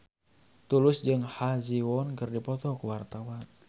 Tulus jeung Ha Ji Won keur dipoto ku wartawan